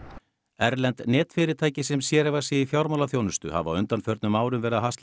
erlend netfyrirtæki sem sérhæfa sig í fjármálaþjónustu hafa á undanförnum árum verið að hasla